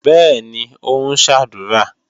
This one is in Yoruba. Bẹ́ẹ̀ni, ó ń ṣàdúrà.